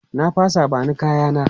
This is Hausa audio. Na fasa, ba ni kaya na!